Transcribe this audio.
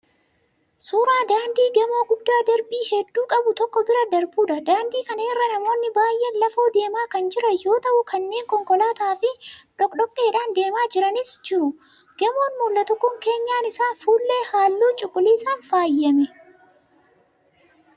Suuraa daandii gamoo guddaa darbii hedduu qabu tokko bira darbuudha. Daandii kana irra namoonni baay'een lafoo deemaa kan jiran yoo ta'u kanneen konkolaataa fi dhokkodhokkeen deemaa jiranis jiru. Gamoon mul'atu kun keenyan isaa fuullee halluu cuquliisaan faayyame.